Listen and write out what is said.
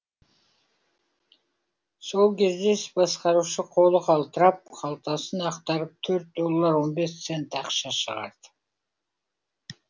сол кезде іс басқарушы қолы қалтырап қалтасын ақтарып төрт доллар он бес цент ақша шығарды